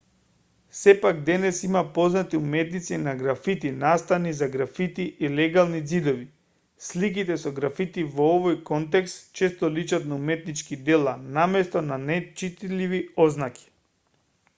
сепак денес има познати уметници на графити настани за графити и легални ѕидови сликите со графити во овој контекст често личат на уметнички дела наместо на нечитливи ознаки